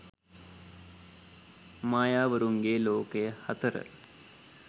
mayawarunge lokaya 4